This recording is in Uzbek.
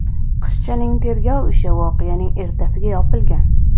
Qizchaning tergov ishi voqeaning ertasiga yopilgan.